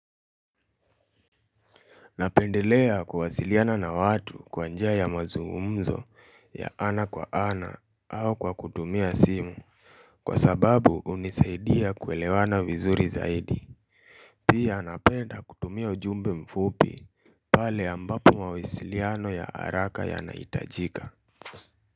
Napendelea kuwasiliana na watu kwa njia ya mazungumzo ya ana kwa ana au kwa kutumia simu kwa sababu hunisaidia kuelewana vizuri zaidi pia napenda kutumia ujumbe mfupi pale ambapo mawasiliano ya haraka yanaitajika.